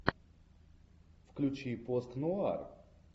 включи постнуар